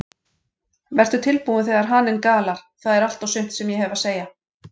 Vertu tilbúinn þegar haninn galar, það er allt og sumt sem ég hef að segja.